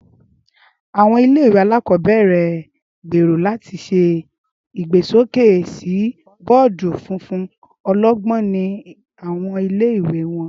Áwọn ìle-ìwe alakọbẹrẹ n gbero lati ṣe igbesoke si bọọdu funfun ọlọgbọn ni awọn ìle-ìwe wọn.